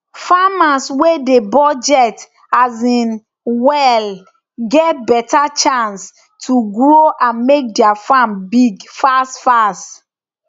farmers wey dey budget um well get better chance to grow and make their farm big fast fast